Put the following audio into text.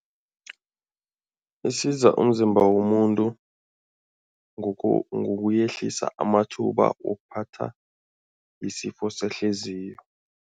Isiza umzimba womuntu ngokuyehlisa amathuba wokuphatha isifo sehliziyo.